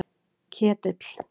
Ketill